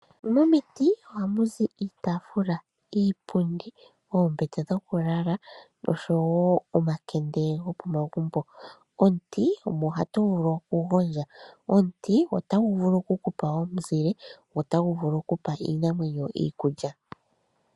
Momiti ohamu zi iitafula, iipundi, oombete dhokulala nosho wo omakende kopomagumbo. Omuti omo hatuvulu okugondja. Omuti otagu vulu okukupa omuzile go otagu vulu okupa iinamwenyo iikulya.